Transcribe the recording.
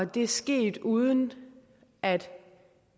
det er sket uden at